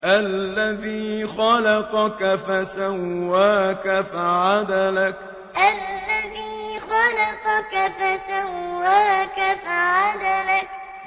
الَّذِي خَلَقَكَ فَسَوَّاكَ فَعَدَلَكَ الَّذِي خَلَقَكَ فَسَوَّاكَ فَعَدَلَكَ